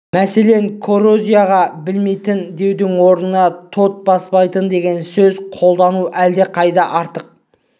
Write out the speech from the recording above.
мәселен коррозияға берілмейтін деудің орнына тот баспайтын деген сөз қолдану әлдеқайда артық